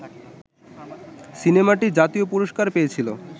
সিনেমাটি জাতীয় পুরস্কার পেয়েছিল